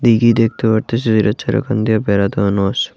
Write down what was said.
দীঘি দেখতে পারতাসি যেটার চারোখান দিয়া বেড়া দেওয়ানো আছে।